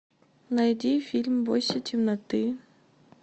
найди фильм бойся темноты